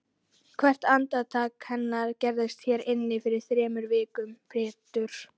Hvert andartak hennar gerðist hér inni fyrir þremur vikum Pétur.